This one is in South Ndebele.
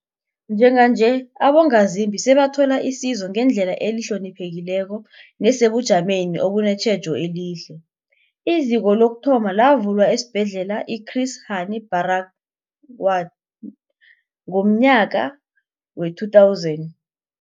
Njenganje, abongazimbi sebathola isizo ngendlela ehloniphekileko nesebujameni obunetjhejo elihle. IZiko lokuthoma lavulwa esiBhedlela i-Chris Hani Baragwanath ngomnyaka we-2000.